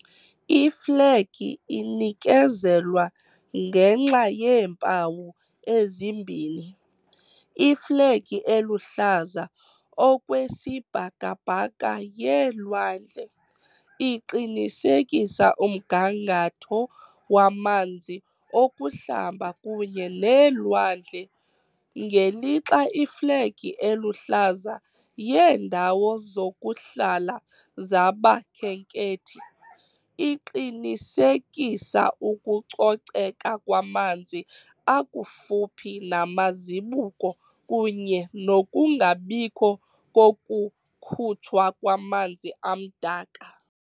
Iflegi inikezelwa ngenxa yeempawu ezimbini - "iflegi eluhlaza okwesibhakabhaka yeelwandle" iqinisekisa umgangatho wamanzi okuhlamba kunye neelwandle, ngelixa "iflegi eluhlaza yeendawo zokuhlala zabakhenkethi" iqinisekisa ukucoceka kwamanzi akufuphi namazibuko kunye nokungabikho kokukhutshwa kwamanzi amdaka.